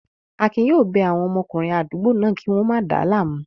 Akin yóò bẹ àwọn ọmọkùnrin àdúgbò náà kí wọ́n máa dáa láàmú